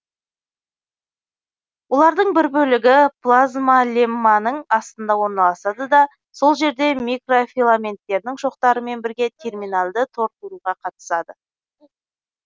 олардың бір бөлігі плазмалемманың астында орналасады да сол жерде микрофиламенттердің шоқтарымен бірге терминальды тор құруға қатысады